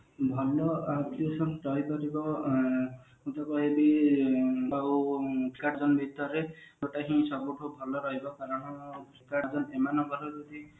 ଭଲ application ଚାରି ପାଞ୍ଚ ଟା ଆଁ ସେଟା ହିଁ ସବୁଠୁ ଭଲ ରହିବା କାରଣ ଏମାନଙ୍କର ଯଦି